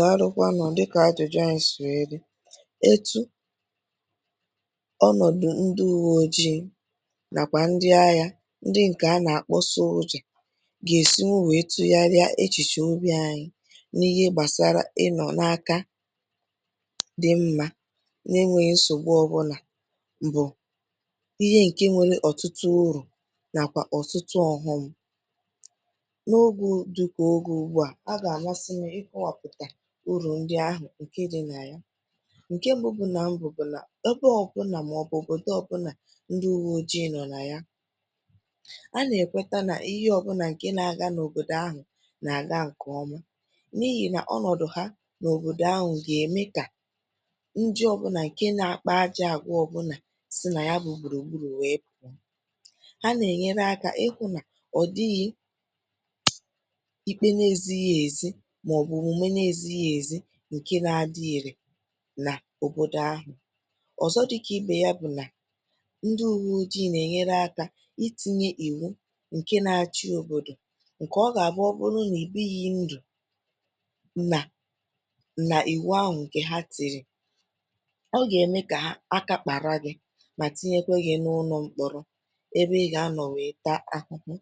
Dàlu kwanụ, dịkà ajụ̀jụ ànyị si wee dị, etu ọnọ̀dụ̀ ndị ùwè ojii nàkwà ndị àgha, ndị ǹkè a nà-akpọ̀ soldier gà-èsi wù nwèrètụ̇ yá rìà echìchè ọbì̇ ànyị n’ihe gbàsara ịnọ̀ n’aka dị mmà n’enwèghị̇ nsògbu ọbụlà, bụ̀ ihe ǹkè nwere ọ̀tụtụ̀ urù nàkwà ọ̀tụtụ̀ ọ̀ghọm. N’ogè dịkà ogè ùgbúà, ọ̀ gà-amasị m ikówàpụ̀tà urù ndị ahụ̀ ǹkè dị nà ya, ǹkè mbù bụ̀ nà, ebe ọbụnà màọ̀bụ̀ òbòdò ọbụnà ndị ùwè ojii nọ̀ nà ya, a nà-èkwèta nà ihe ọbụnà ǹkè nà-àgà n’òbòdò ahụ̀ nà-àgà ǹkèọ̀mà, n’ihì nà ọnọ̀dụ̀ hȧ n’òbòdò ahụ̀ gà-ème kà ndị ọbụnà ǹkè nà-àkpà ajà àgwà ọbụnà si nà ya bụ̀ gburugburu wee pụọ, hà na-enyere aka ihụ nà ọ̀ dịghị ikpe nà ezìhì ezi màọ̀bụ̀ òmume nà ezìhì ezi ǹkè nà-adị ire nà òbòdò ahụ̀. Ọ̀zọ̀ dịkà ibè yá bụ̀ nà, ndị ùwè ojii nà-ènye aka itinye ìwù ǹkè nà-achị òbòdò, ǹkè ọ gà-àbụ ọ̀bụrụ nà e bighị ndụ̀, nà nà ìwù ahụ̀ ǹkè hà tìrì, ọ gà-ème kà aka kpàrà gị̇ mà tinyèkwa gị̇ n’ụnọ̇ mkpọ̀rọ̀, ebe ị̇ gà-anọ̀ wee tàà ahụhụ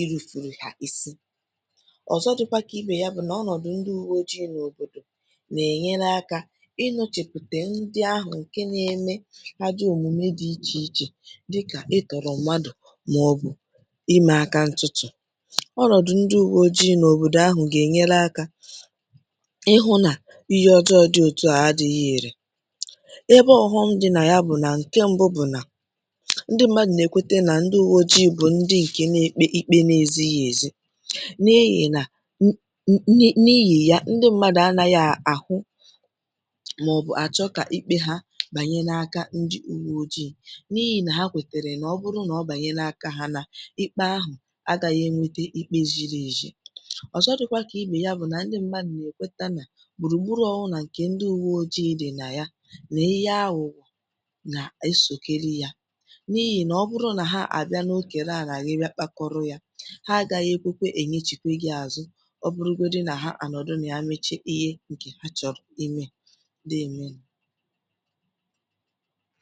ìrùfùrù hà isi. Ọ̀zọ̀ dị̇kwà kà ibè yá bụ̀ nà ọnọ̀dụ̀ ndị ùwè ojii nà òbòdò nà-ènye aka ịchọpụ̀tà ndị ahụ̀ ǹkè nà-eme àjọ̀ òmume dị iche iche dịkà ịtọ̀rọ̀ mmadụ̀ màọ̀bụ̀ ime aka ǹtụtụ̀. Ọnọdụ ndị ùwè ojii nà òbòdò ahụ̀ gà-ènye aka ihụ̇ nà ihe ọjọọ dị òtù àdịghị ire. Ebe ọ̀ghọm dị nà ya bụ̀ nà ǹkè mbù bụ̀ nà ndị mmadụ̀ nà-ekwèta nà ndị ùwè ojii bụ̀ ndị ǹkè nà-ekpe ikpe n’ezìhì ezi, n’ihi nà, n’ihì ya, ndị mmadụ̀ anàghị̇ àhụ màọ̀bụ̀ àchọ kà ikpe hà banye n’aka ndị ùwè ojii n’ihì nà hà kwètèrè nà ọ̀ bụrụ nà ọ banye n’aka hà, nà ikpe ahụ̀ agàghị̇ ènwete ikpe zìrì ezi. Ọ̀zọ̀ dịkwà kà ibè yá bụ̀ nà ndị mmadụ̀ nà-ekwèta nà gbùrùgbùrù ọbụnà ǹkè ndị ùwè ojii dị̀ nà ya, nà ihe àghụ̀ghọ̀ nà-èsòkèrè yá, n’ihì nà ọ̀ bụrụ nà hà àbịa n’okèra àlà ya, hà agaghị ekwèkwà enyechikwà gị azụ, ọ̀bụrụgodị nà hà ànọ̀dụ̀ nà ya mechaa ihe ǹkè hà chọ̀rọ̀ ime. Dée emenụ.